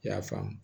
I y'a faamu